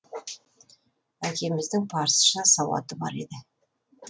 әкеміздің парсыша сауаты бар еді